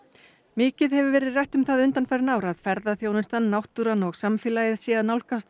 mikið hefur verið rætt um það undanfarin ár að ferðaþjónustan náttúran og samfélagið sé að nálgast